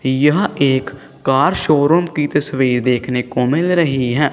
यहां एक car showroom की तस्वीर देखने को मिल रही है।